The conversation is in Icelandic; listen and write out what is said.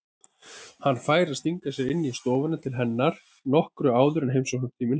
Hann fær að stinga sér inn í stofuna til hennar nokkru áður en heimsóknartíminn hefst.